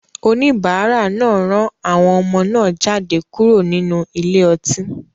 Oníbàárà náà rán àwọn ọmọ náà jáde kúrò nínú ile-ọtí.